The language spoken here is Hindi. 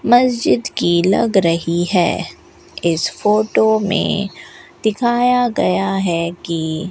मस्जिद की लग रही है इस फोटो में दिखाया गया है कि --